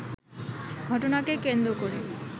ঘটনাকে কেন্দ্র করে